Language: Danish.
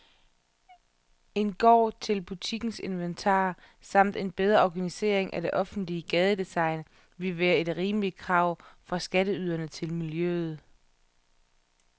En gård til butikkens inventar samt en bedre organisering af det offentlige gadedesign ville være et rimeligt krav fra skatteyderne til miljøet.